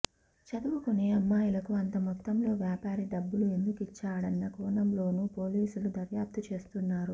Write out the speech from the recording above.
చదువుకునే అమ్మాయిలకు అంత మొత్తంలో వ్యాపారి డబ్బులు ఎందుకిచ్చాడన్న కోణంలోనూ పోలీసులు దర్యాప్తు చేస్తున్నారు